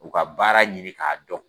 U ka baara ɲini k'a dɔn.